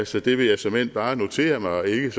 så det vil jeg såmænd bare notere mig og ikke